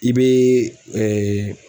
I bee ɛɛ